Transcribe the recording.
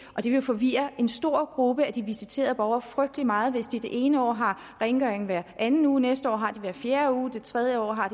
og det vil forvirre en stor gruppe af de visiterede borgere frygtelig meget hvis de det ene år har rengøring hver anden uge næste år har de det hver fjerde uge og det tredje år har